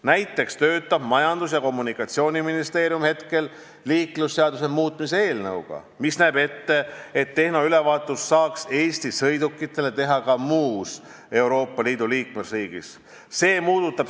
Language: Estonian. Näiteks töötab Majandus- ja Kommunikatsiooniministeerium praegu liiklusseaduse muutmise eelnõuga, mis näeb ette, et Eesti sõidukitele saaks tehnoülevaatust teha ka mõnes muus Euroopa Liidu liikmesriigis.